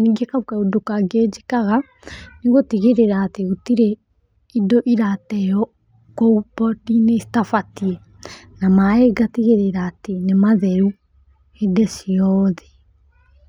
Ningĩ kau kaũndũ kangĩ njĩkaga nĩ gũtigĩrĩra atĩ gũtirĩ indo irateo kũu pondi-inĩ citabatiĩ. Na maĩ ngatigĩrĩra atĩ nĩ matheru hĩndĩ ciothe.